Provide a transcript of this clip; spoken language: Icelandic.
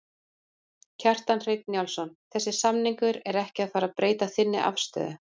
Kjartan Hreinn Njálsson: Þessi samningur er ekki að fara að breyta þinni afstöðu?